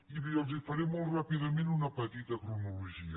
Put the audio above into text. i els faré molt ràpidament una petita cronologia